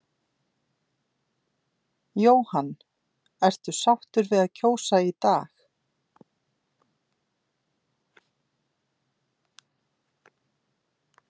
Jóhann: Ertu sáttur við að kjósa í dag?